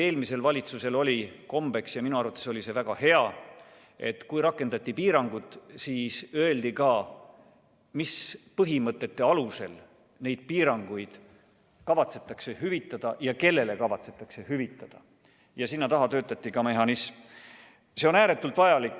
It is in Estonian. Eelmisel valitsusel oli kombeks – ja minu arvates oli see väga hea –, et kui rakendati piirangud, siis öeldi ka, mis põhimõtete alusel piiranguid kavatsetakse hüvitada ja kellele kavatsetakse hüvitada, ja sinna taha töötati välja ka mehhanism.